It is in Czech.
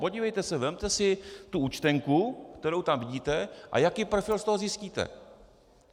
Podívejte se, vezměte si tu účtenku, kterou tam vidíte, a jaký profil z toho zjistíte?